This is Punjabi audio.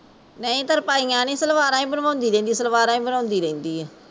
ਨਹੀਂ ਤਰਪਾਈਂਆ ਨੀ ਸਲਵਾਰਾਂ ਹੀਂ ਬਣਵਾਉਂਦੀ ਰਹਿੰਦੀ ਸਲਵਾਰਾਂ ਹੀਂ ਬਣਵਾਉਂਦੀ ਰਹਿੰਦੀ ਏ